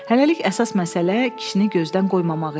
Hələlik əsas məsələ kişini gözdən qoymamaq idi.